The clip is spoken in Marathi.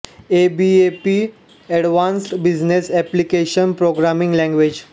A B A P advanced business application programming language